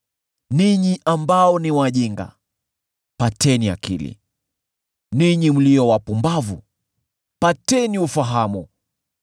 Ninyi ambao ni wajinga, pateni akili; ninyi mlio wapumbavu, pateni ufahamu.